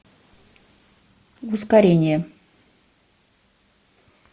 ускорение